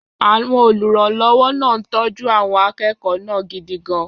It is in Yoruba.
Àwọn olùrànlọ́wọ́ náà ń tọ́jú àwọn akẹ́kọ̀ọ́ náà gidi gan-an.